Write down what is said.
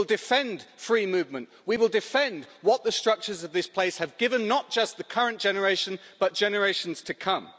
We will defend free movement, we will defend what the structures of this place have given not just the current generation, but generations to come.